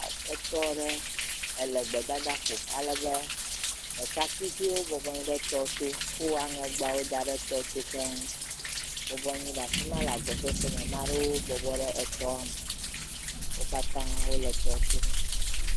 Etɔ ɖe le gbedadaƒo. alebe ɖekakpuiviwo bɔbɔ nɔ anyi ɖe etɔto. Wo aŋɛgbawo da ɖe tɔto keŋ bɔbɔ anyi ɖe afi ma le agbɔsɔsɔme. Maa ɖewo bɔbɔ ɖe etɔɔ me. Wo katã wole etɔto.